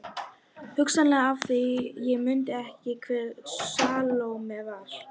Hugsanlega af því ég mundi ekki hver Salóme var.